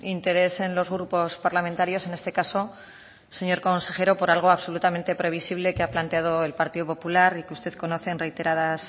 interés en los grupos parlamentarios en este caso señor consejero por algo absolutamente previsible que ha planteado el partido popular y que usted conoce en reiteradas